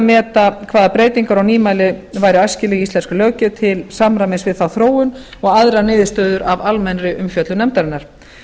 meta hvaða breytingar og nýmæli séu æskileg í íslenskri löggjöf til samræmis við þá þróun og aðrar niðurstöður af almennri umfjöllun nefndarinnar